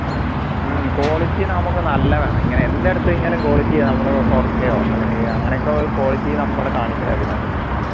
ഉം quality നമുക്ക് നല്ല വേണം ഇങ്ങനെ എന്ത് എടുത്തു കഴിഞ്ഞാലോ quality നമ്മള് four k ഓ അല്ലെങ്കിൽ അങ്ങനെയൊക്കെ ഒരു quality നമ്മൾ കാണിക്കണം ഇതിനകത്ത്